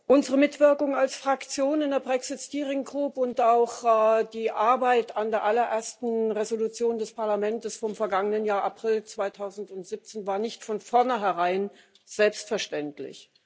Unsere Mitwirkung als Fraktion in der Brexit Steering Group und auch die Mitarbeit an der allerersten Entschließung des Parlaments vom vergangenen Jahr April 2017 war nicht von vorneherein selbstverständlich.